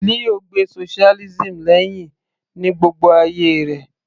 Leo gbe socialism lẹ́hìn ní gbogbo ayé rẹ̀